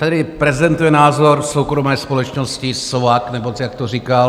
Tady prezentuje názor soukromé společnosti SOVAK, nebo jak to říkal.